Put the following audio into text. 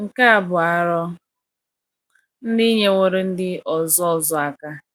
nke a bụ arọ ndị nyewooro ndị ọzọ ọzọ aka.